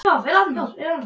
Guðdís, áttu tyggjó?